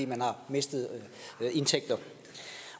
mistet indtægter